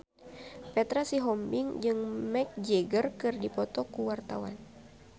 Petra Sihombing jeung Mick Jagger keur dipoto ku wartawan